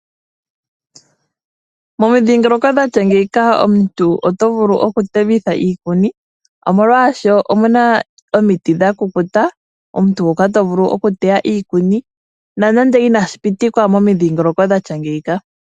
Momidhiingoloko dha tya ngeyika omuntu oto vulu oku temitha iikuni . Molwaashoka omuna omiti dha kukuta hoka tovulu oku teya ko iikuni nonando inashi pitikwa momidhiingoloko dha tya ngeyika.